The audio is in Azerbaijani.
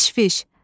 Təşviş,